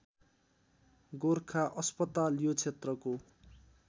गोरखा अस्पताल यो क्षेत्रको